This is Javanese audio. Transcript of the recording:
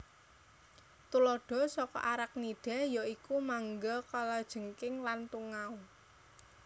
Tuladha saka Arachnida ya iku mangga kalajengking lan tungau